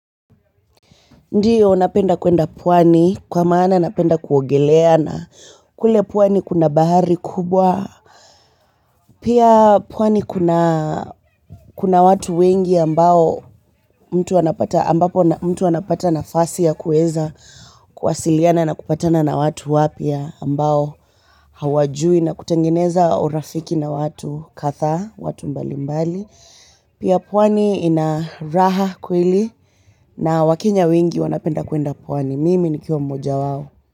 Ndiyo napenda kwenda pwani kwa maana napenda kuogelea na kule pwani kuna bahari kubwa. Pia pwani kuna watu wengi ambapo mtu anapata nafasi ya kuweza kuwasiliana na kupatana na watu wapya ambao hawajui na kutengeneza urafiki na watu kadhaa, watu mbalimbali. Pia pwani ina raha kweli na wakenya wengi wanapenda kwenda pwani mimi nikiwa mmoja wao.